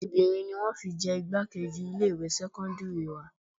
Obìnrin ni wọn fi jẹ igbákejì ilé ìwé sẹ́kọ́ńdírì wa.